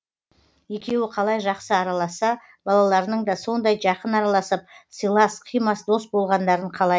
екеуі қалай жақсы араласса балаларының да сондай жақын араласып сыйлас қимас дос болғандарын қалайтын